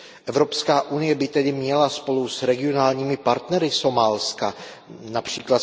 Evropská unie by tedy měla spolu s regionálními partnery Somálska, např.